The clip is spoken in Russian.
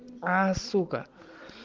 а сука